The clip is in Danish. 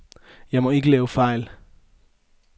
Jeg må ikke lave fejl.